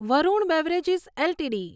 Varun beverages LTD